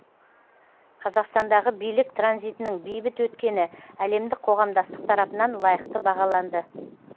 қазақстандағы билік транзитінің бейбіт өткені әлемдік қоғамдастық тарапынан лайықты бағаланды